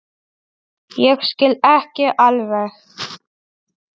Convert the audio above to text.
Ég skil ekki alveg